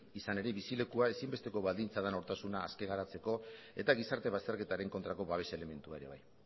izan ere bizilekua ezinbesteko baldintza den nortasuna aske geratzeko eta gizarte bazterketaren kontrako babes elementua ere bai